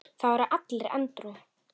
Það voru allir edrú.